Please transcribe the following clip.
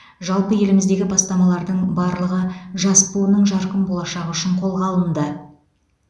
жалпы еліміздегі бастамалардың барлығы жас буынның жарқын болашағы үшін қолға алынды